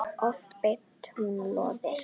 Oft beitti hún lóðir.